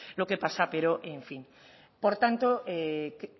lo que pasa pero en fin por tanto